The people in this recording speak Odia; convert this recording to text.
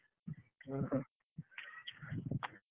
ଓହୋ।